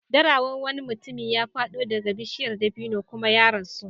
Dara wan wani mutum ya faɗo daga bishiyar dabino kuma ya rasu.